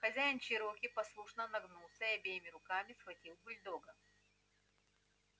хозяин чероки послушно нагнулся и обеими руками схватил бульдога